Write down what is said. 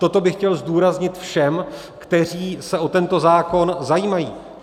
Toto bych chtěl zdůraznit všem, kteří se o tento zákon zajímají.